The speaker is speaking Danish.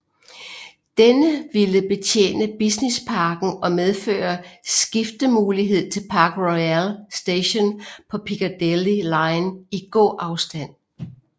Denne ville betjene businessparken og medføre skiftemulighed til Park Royal Station på Piccadilly line i gåafstand